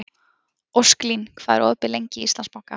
Ósklín, hvað er opið lengi í Íslandsbanka?